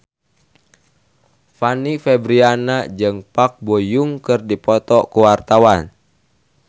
Fanny Fabriana jeung Park Bo Yung keur dipoto ku wartawan